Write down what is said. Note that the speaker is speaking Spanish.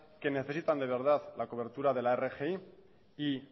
que necesiten de verdad la cobertura de la rgi y